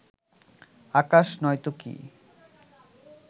আকাশ নয়তো কী